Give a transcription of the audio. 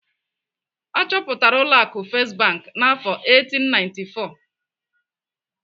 Achọpụtara ụlọ akụ First Bank n'afọ 1894.